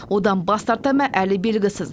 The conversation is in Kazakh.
одан бас тартама әлі белгісіз